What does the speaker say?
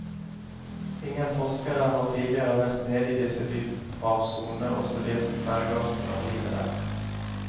Ingen forskere har tidligere vært nede i disse dyphavssonene og studert bergartene og livet der.